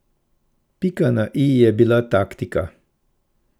Pika na i je bila taktika.